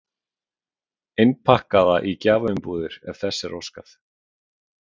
Innpakkaða í gjafaumbúðir ef þess er óskað.